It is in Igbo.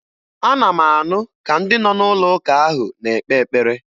Ana m anụ ka ndị nọ n'ụlọụka ahụ na-ekpe ekpere.